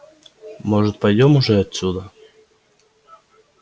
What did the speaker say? может пойдём уже отсюда